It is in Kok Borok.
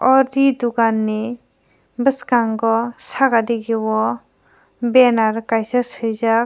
o ri dogan ni biskango saka digi o banner o kaisa suijak.